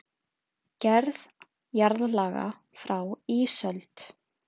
Gerð jarðlaga frá ísöld